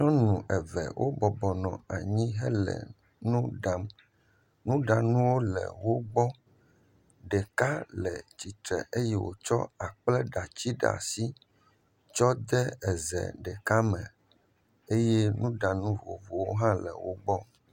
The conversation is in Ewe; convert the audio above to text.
Nyɔnu eve wobɔbɔ nɔ anyi hele nu ɖam. Nuɖanuwo le wo gbɔ, ɖeka le tsitre eye wotsɔ akpleɖati ɖe asi tsɔ de ze ɖeka me eye nuɖanu vovovowo hã le wo gbɔ.